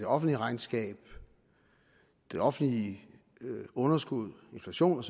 offentlige regnskab det offentlige underskud inflation